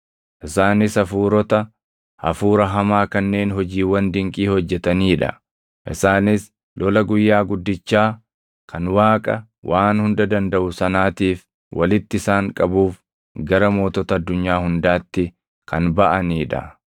Isaanis hafuurota hafuura hamaa kanneen hojiiwwan dinqii hojjetanii dha; isaanis lola guyyaa guddichaa kan Waaqa Waan Hunda Dandaʼu sanaatiif walitti isaan qabuuf gara mootota addunyaa hundaatti kan baʼanii dha.